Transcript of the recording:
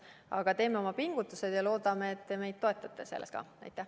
Aga me teeme oma pingutused ja loodame, et te meid selles toetate.